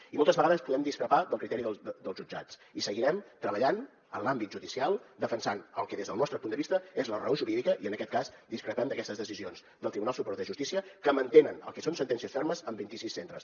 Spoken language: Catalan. i moltes vegades podem discrepar del criteri dels jutjats i seguirem treballant en l’àmbit judicial defensant el que des del nostre punt de vista és la raó jurídica i en aquest cas discrepem d’aquestes decisions del tribunal superior de justícia que mantenen el que són sentències fermes en vint i sis centres